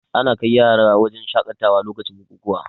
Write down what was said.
Ana kai yara wurin shaƙatawa lokacin bukukuwa